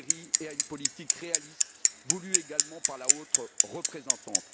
Kerry et à une politique réaliste voulue également par la haute représentante.